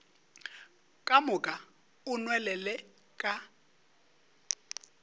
ka moka o nwelele ka